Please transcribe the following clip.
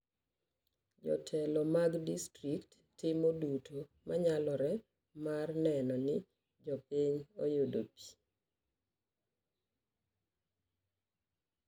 Jotelo mag distrikt timo duto manyalore mar neno ni jopiny oyudo pii